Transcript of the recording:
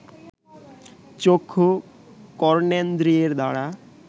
চক্ষু, কর্ণেন্দ্রিয়ের দ্বারা